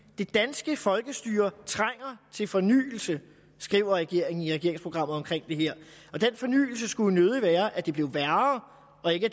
det danske folkestyre trænger til fornyelse skriver regeringen i regeringsprogrammet om det her og den fornyelse skulle jo nødig være at det blev værre og ikke